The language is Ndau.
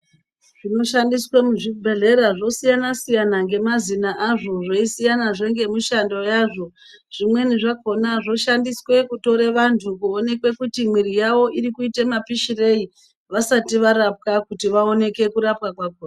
Zvinoshandiswe muzvibhedhlera zvosiyana siyana ngemaxina azvi zveisiyanazve ngemishando yazvo zvimweni zvakhona zvoshandiswe kutore vantu kuonekwe kuti miri yawo iri kuite mapishirei vasati varapwa kuti vaoneke kurapwa kwakhona.